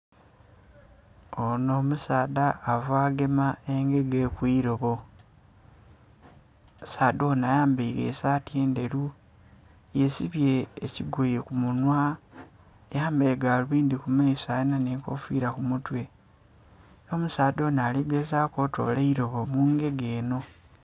Onho omusaadha ava gema engege kwirobo omusaadha onho ayambaire esaati endheru yesibye ekigoye ku munhwa, ayambaire galubindhi ku maiso nga alinha nhe enkofira ku mutwe era omusaadha onho ali gezaku okutola eirobo mu ngege enho.